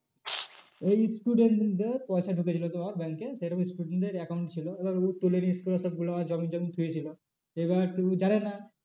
এই student দের পয়সা ঢুকে ছিলো তো ওর bank এ সেরকম student দের account ছিল এবার ও তুলেনি scholarship জমিয়ে জমিয়ে ছিল এবার তো ও জানে না